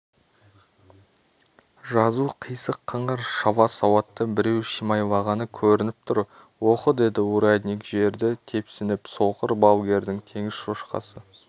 жазу қисық-қыңыр шала-сауатты біреу шимайлағаны көрініп тұр оқы деді урядник жерді тепсініп соқыр балгердің теңіз шошқасы